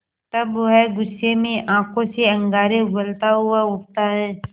तब वह गुस्से में आँखों से अंगारे उगलता हुआ उठता है